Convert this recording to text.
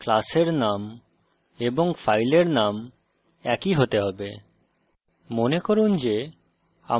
জাভাতে class name এবং file name একই হতে হবে